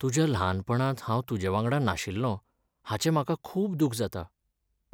तुज्या ल्हानपणांत हांव तुजेवांगडा नाशिल्लों हाचें म्हाका खूब दूख जाता.